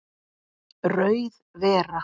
Rauð vera